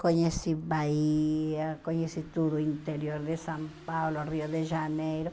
Conheci Bahia, conheci todo o interior de São Paulo, Rio de Janeiro.